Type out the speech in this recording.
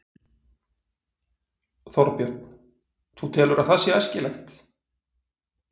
Þorbjörn: Þú telur að það sé æskilegt?